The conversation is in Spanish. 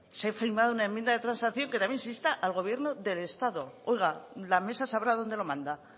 se ha firmado una enmienda de transacción que también se insta al gobierno del estado oiga la mesa sabrá dónde lo manda